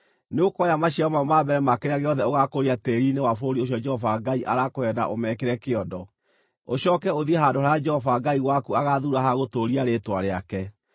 nĩũkoya maciaro mamwe ma mbere ma kĩrĩa gĩothe ũgaakũria tĩĩri-inĩ wa bũrũri ũcio Jehova Ngai arakũhe na ũmekĩre kĩondo. Ũcooke ũthiĩ handũ harĩa Jehova Ngai waku agaathuura ha gũtũũria Rĩĩtwa rĩake,